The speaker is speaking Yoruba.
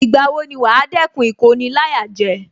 Ìgbà wo ni wàá dẹ́kun Ìkoni-láyàjẹ